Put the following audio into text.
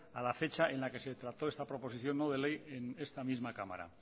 a la fecha en la que se trató esta proposición no de ley en esta misma cámara